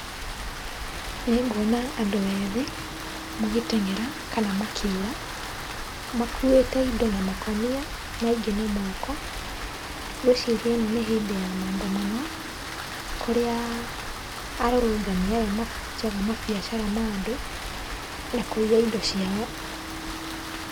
Nĩnguona andũ ethĩ magĩteng'era kana makĩũra, makuĩte indo na makũnia na ingĩ na moko. Ngwĩciria ĩno nĩ hĩndĩ ya maandamano kũrĩa arũrũngani aya mabunjaga mabiacara ma andũ, na kũiya indo ciao.